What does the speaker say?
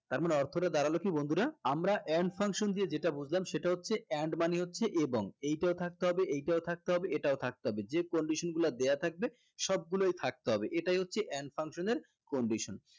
তার মানে অর্থ টা দাঁড়ালো কি বন্ধুরা আমরা and function দিয়ে যেটা বুঝলাম সেটা হচ্ছে and মানে হচ্ছে এবং এইটাও থাকতে হবে এইটাও থাকতে হবে এটাও থাকতে হবে যে condition গুলা দেয়া থাকবে সবগুলাই থাকতে হবে এটাই হচ্ছে and function এর condition